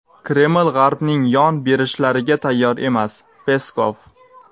Kreml G‘arbning yon berishlariga tayyor emas – Peskov.